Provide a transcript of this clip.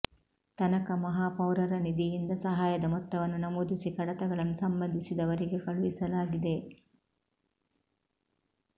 ತನಕ ಮಹಾಪೌರರ ನಿಧಿಯಿಂದ ಸಹಾಯದ ಮೊತ್ತವನ್ನು ನಮೂದಿಸಿ ಕಡತಗಳನ್ನು ಸಂಬಂಧಿಸಿದವರಿಗೆ ಕಳುಹಿಸಲಾಗಿದೆ